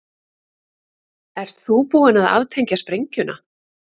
Ert þú búin að aftengja sprengjuna?